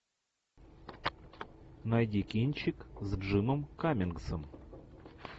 найди кинчик с джимом каммингсом